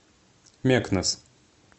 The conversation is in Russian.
мекнес